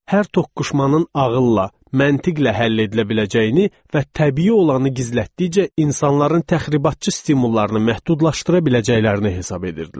Hər toqquşmanın ağılla, məntiqlə həll edilə biləcəyini və təbii olanı gizlətdikcə insanların təxribatçı stimullarını məhdudlaşdıra biləcəklərini hesab edirdilər.